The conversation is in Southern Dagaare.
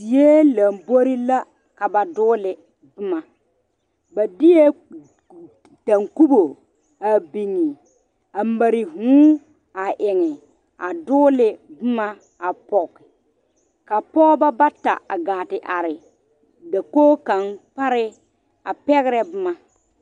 Die lambori la ka ba dɔgele boma ba deɛ dankobo a biŋ a mare vûū a eŋ a dɔgele boma a pɔge ka Pɔgeba bata a haa te are dakoo kaŋ pare a pɛgerɛ boma